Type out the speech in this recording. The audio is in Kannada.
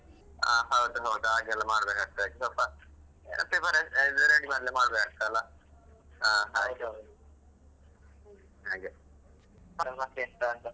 ಹಾ ಹೌದು ಹಾಗೆಲ್ಲಾ ಮಾಡ್ಬೇಕಾಗ್ತದೆ ಮಾಡಬೇಕಾಗ್ತದಲ್ಲ ಹಾಗೆ ನೋಡುವಾ ಮತ್ತೆಂತ .